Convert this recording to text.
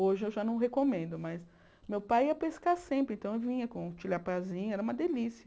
Hoje eu já não recomendo, mas meu pai ia pescar sempre, então eu vinha com o tilapiazinho, era uma delícia.